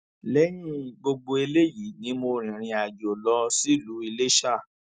lẹyìn gbogbo eléyìí ni mo rìnrìnàjò lọ sílùú iléṣà